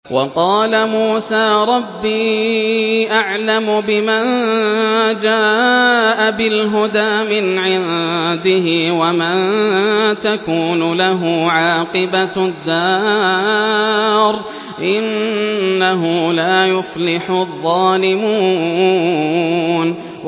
وَقَالَ مُوسَىٰ رَبِّي أَعْلَمُ بِمَن جَاءَ بِالْهُدَىٰ مِنْ عِندِهِ وَمَن تَكُونُ لَهُ عَاقِبَةُ الدَّارِ ۖ إِنَّهُ لَا يُفْلِحُ الظَّالِمُونَ